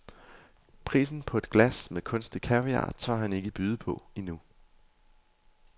Prisen på et glas med kunstig kaviar tør han ikke byde på endnu.